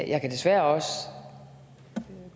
jeg kan desværre også